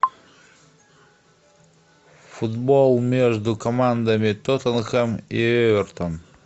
футбол между командами тоттенхэм и эвертон